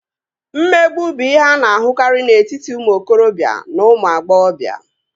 Mmegbu bụ ihe a na-ahụkarị n'etiti ụmụ okorobịa na ụmụ agbọghọbịa